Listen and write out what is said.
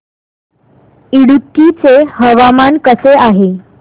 इडुक्की चे हवामान कसे आहे